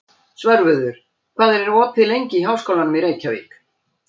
Svörfuður, hvað er opið lengi í Háskólanum í Reykjavík?